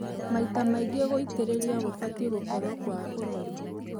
Maita maingĩ, gũitĩrĩria gũbatie gũkorwo kwa ũrori